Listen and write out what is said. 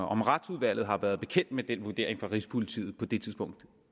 om retsudvalget har været bekendt med den vurdering fra rigspolitiet på det tidspunkt